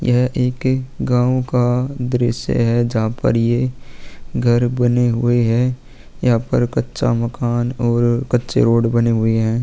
यह एक गांवों का दृश्य है जहाँ पर यह घर बने हुए है यहाँ पर कच्चा मकान और कच्चें रोड बने हुए है।